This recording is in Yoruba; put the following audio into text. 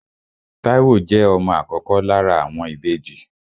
Táíwò jẹ́ ọmọ àkọ́kọ́ lára àwọn ìbejì